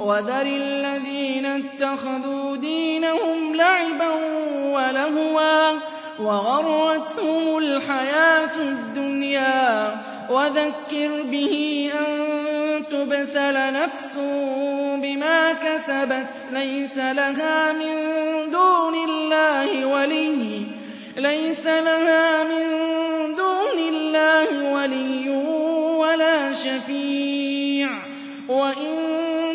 وَذَرِ الَّذِينَ اتَّخَذُوا دِينَهُمْ لَعِبًا وَلَهْوًا وَغَرَّتْهُمُ الْحَيَاةُ الدُّنْيَا ۚ وَذَكِّرْ بِهِ أَن تُبْسَلَ نَفْسٌ بِمَا كَسَبَتْ لَيْسَ لَهَا مِن دُونِ اللَّهِ وَلِيٌّ وَلَا شَفِيعٌ وَإِن